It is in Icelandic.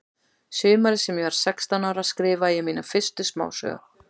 Sumarið sem ég var sextán ára skrifaði ég mína fyrstu smásögu.